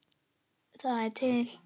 Það er til